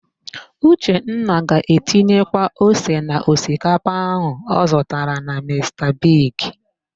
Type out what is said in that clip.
Uchenna ga-etinyekwu ose na osikapa áhụ̀ ọ zụtara na Mista Bigi.